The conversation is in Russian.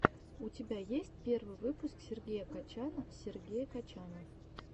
у тебя есть первый выпуск сергея качана сергея качана